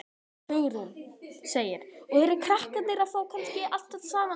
Hugrún: Og eru krakkar að fá kannski allt þetta saman?